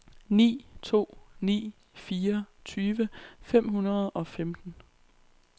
ni to ni fire tyve fem hundrede og femten